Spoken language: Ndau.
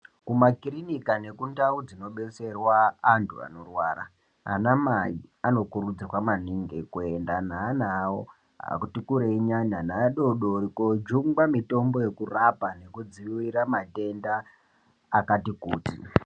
Mumakirinika nekundau dzinodetserwa antu anorwara, anamai anokurudzirwa maningi kuenda neana awo atikurei nyana neadodori koodyungwa mitombo yekurapa nekudziirira matenda akati kuti.